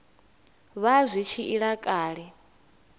vha zwi tshi ila kale